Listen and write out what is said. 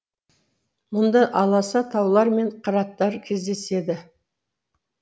мұнда аласа таулар мен қыраттар кездеседі